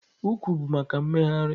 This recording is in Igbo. Ụkwụ bụ maka mmegharị.